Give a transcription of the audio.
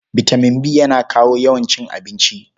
Bitaman B yana kawo yawan cin abinci.